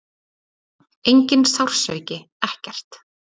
Enginn sársauki, ekkert.